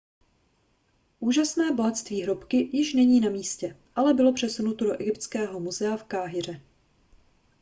úžasné bohatství hrobky již není na místě ale bylo přesunuto do egyptského muzea v káhiře